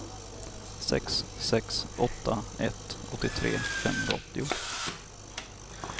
sex sex åtta ett åttiotre femhundraåttio